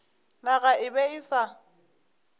naga e be e sa